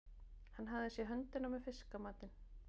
Hann hafði séð höndina með fiskamatinn.